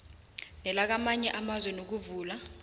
nelakamanye amazwe ngokuvula